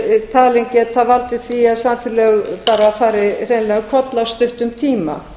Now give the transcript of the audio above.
talin geta valdið því að samfélög bara fari hreinlega um koll á stuttum tíma